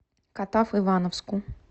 катав ивановску